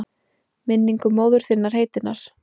Minningu móður þinnar heitinnar?